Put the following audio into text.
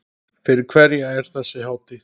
Fyrir hverja er þessi hátíð?